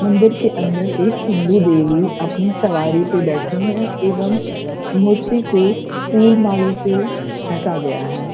मंदिर के अन्दर एक हिन्दू देवी अपनी सवारी पे बैठीं है एवम मूर्ति को फूल मालो से ढका गया है।